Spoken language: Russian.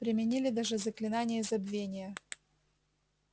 применили даже заклинание забвения